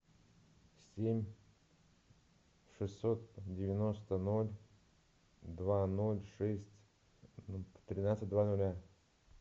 семь шестьсот девяносто ноль два ноль шесть тринадцать два ноля